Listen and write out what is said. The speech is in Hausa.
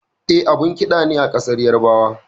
E, abun ƙida ne a ƙasar Yarabawa.